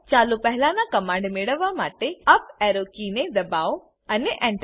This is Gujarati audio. ચાલો પહેઓલા ના કમાંડ મેળવવા માટે અપ એરો કીને દબાઓઅને Enter